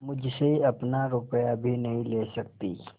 मुझसे अपना रुपया भी नहीं ले सकती